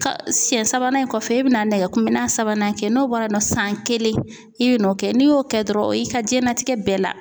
Siyɛn sabanan in kɔfɛ i bɛna nɛgɛ kunbɛnna sabanan kɛ n'o bɔra yen nɔ san kelen i bɛ n'o kɛ n'i y'o kɛ dɔrɔn o y'i ka diɲɛnatigɛ bɛɛ la.